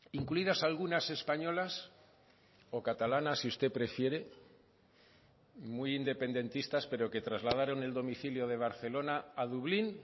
incluidas algunas españolas o catalanas si usted prefiere muy independentistas pero que trasladaron el domicilio de barcelona a dublín